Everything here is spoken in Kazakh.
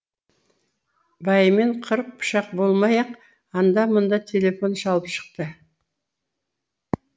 байымен қырық пышақ болмай ақ анда мында телефон шалып шықты